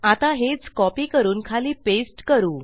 आता हेच कॉपी करून खाली पेस्ट करू